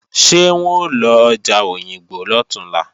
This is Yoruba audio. Ṣé wọ́n ó lọ ọjà Òyìngbò lọ̀túnla?